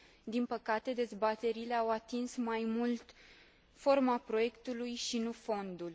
Din păcate, dezbaterile au atins mai mult forma proiectului, și nu fondul.